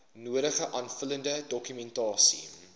nodige aanvullende dokumentasie